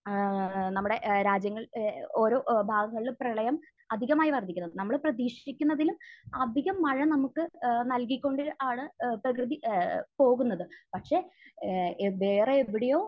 ഏഹ് നമ്മുടെ ഏഹ് രാജ്യങ്ങൾ എഹ് ഓരോ ഭാഗങ്ങളിൽ പ്രളയം അധികമായി വർധിക്കുന്നത്. നമ്മൾ പ്രതീക്ഷിക്കുന്നതിലും അധികം മഴ നമുക്ക് ഏഹ് നൽകിക്കൊണ്ട് ആണ് ഏഹ് പ്രകൃതി ഏഹ് പോകുന്നത്. പക്ഷെ ഏഹ് വേറെ എവിടെയോ